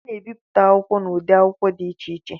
A na-ebipụta akwụkwọ n'ụdị akwụkwọ dị iche iche